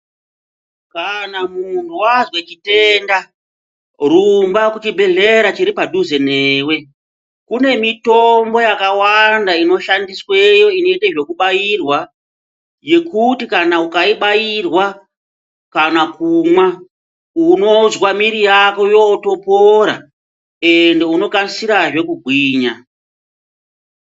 Kana munhu azwe chitenda rumba kuchibhehlera chiri pedhuze newe. Kune mitombo yakawanda inoshandisweyo inoite zvekubairwa yekuti kana ukaibairwa kana kumwa unozwa mwiri Yako yotopora ende unokasirazve kugwinya.